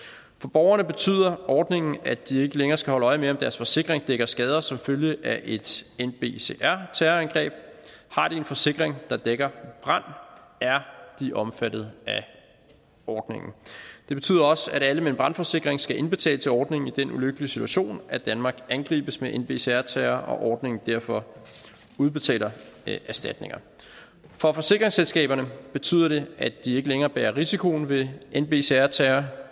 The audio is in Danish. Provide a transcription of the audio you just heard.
borgerne betyder ordningen at de ikke længere skal holde øje med om deres forsikring dækker skader som følge af et nbcr terrorangreb har de en forsikring der dækker brand er de omfattet af ordningen det betyder også at alle med en brandforsikring skal indbetale til ordningen i den ulykkelige situation at danmark angribes med nbcr terror og ordningen derfor udbetaler erstatninger for forsikringsselskaberne betyder det at de ikke længere bærer risikoen ved nbcr terror